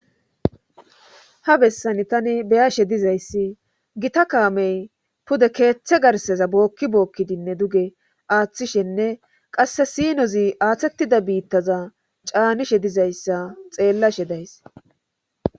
ha bessani tani beyashe dizayssi gita kaamey pude keeththe garseza bookki bookkidinne duge aaththishenne qasse siinozi aaththettida biittaza caanishe dizayssa xeellashe days